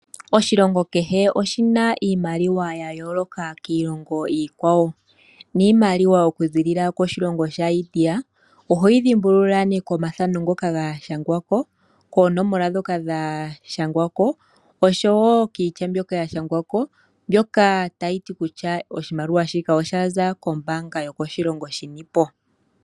Oshilingo keshe oshina iimaliwa ya yooloka kiilongo iikwawo, niimaliwa oku zilila koshilongo sha India ohoyi dhimbulula nee komathano ngoka ga shangwako koonomola dhoka dha shangwako oshowo kiitya mbyoka ya shangwako mbyoka tayi ti kutya oshimaliwa shika osha za kombaanga yokoshilongo shinipo.